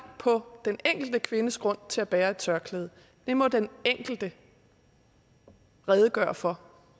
på den enkelte kvindes grund til at bære et tørklæde det må den enkelte redegøre for